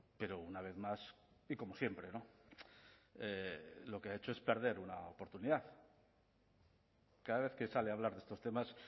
pero una vez más y como siempre no lo que ha hecho es perder una oportunidad cada vez que sale a hablar de estos temas